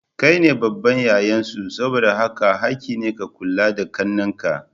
Kaine babban yayan su saboda haka hakki ne ka kula da ƙannen ka.